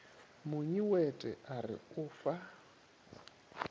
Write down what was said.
monyewete a re o fa